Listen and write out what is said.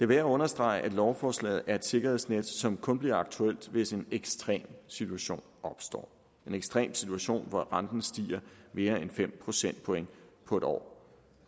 værd at understrege at lovforslaget om et sikkerhedsnet som kun bliver aktuelt hvis en ekstrem situation opstår en ekstrem situation hvor renten stiger mere end fem procentpoint på et år